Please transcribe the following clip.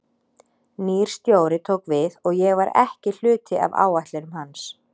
Nýr stjóri tók við og ég var ekki hluti af áætlunum hans.